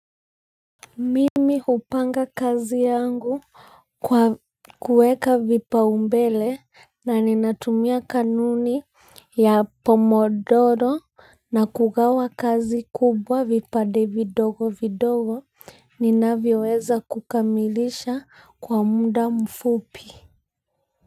Mimi upanga kazi yangu kwa kuweka vipaumbele na ninatumia kanuni ya pomodoro na kugawa kazi kubwa vipande vidogo vidogo ninavyoweza kukamilisha kwa muda mfupi.